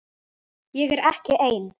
Ég er ekki ein.